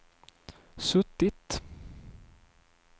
suttit